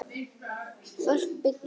Fólk byggir.